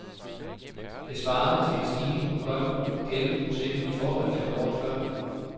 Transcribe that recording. Det svarede til en stigning på godt elleve procent i forhold til året før.